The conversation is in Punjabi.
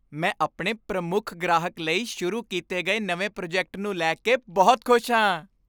ਮੈਂ ਆਪਣੇ ਪ੍ਰਮੁੱਖ ਗ੍ਰਾਹਕ ਲਈ ਸ਼ੁਰੂ ਕੀਤੇ ਗਏ ਨਵੇਂ ਪ੍ਰੋਜੈਕਟ ਨੂੰ ਲੈ ਕੇ ਬਹੁਤ ਖੁਸ਼ ਹਾਂ।